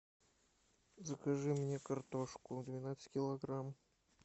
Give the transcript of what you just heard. закажи мне картошку двенадцать килограмм